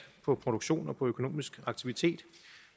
på produktion og på økonomisk aktivitet